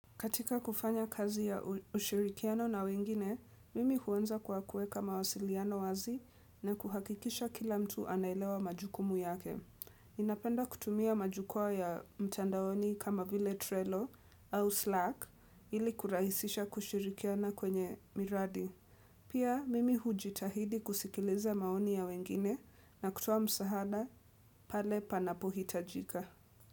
Katika kufanya kazi ya ushirikiano na wengine, mimi huanza kwa kueka mawasiliano wazi na kuhakikisha kila mtu anaelewa majukumu yake. Ninapenda kutumia majukwaa ya mtandaoni kama vile Trello au Slack ili kurahisisha kushirikiana kwenye miradi. Pia mimi hujitahidi kusikiliza maoni ya wengine na kutoa msaada pale panapohitajika.